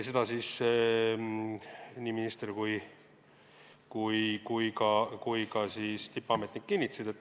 Seda nii minister kui ka tippametnik kinnitasid.